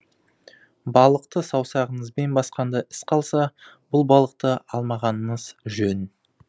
балықты саусағыңызбен басқанда із қалса бұл балықты алмағаныңыз жөн